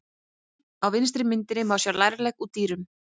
Á vinstri myndinni má sjá lærlegg úr dýrum.